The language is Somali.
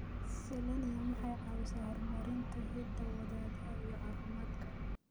Selenium waxay caawisaa horumarinta hidda-wadaha iyo caafimaadka